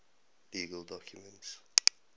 legal documents